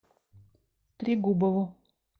трегубову